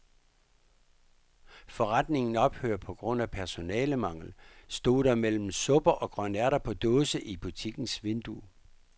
Forretningen ophører på grund af personalemangel, stod der mellem supper og grønærter på dåse i butikkens vindue.